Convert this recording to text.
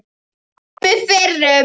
Ormi fyrrum.